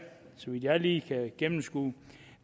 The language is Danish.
så vidt jeg lige kan gennemskue